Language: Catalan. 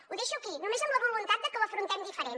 ho deixo aquí només amb la voluntat de que ho afrontem diferent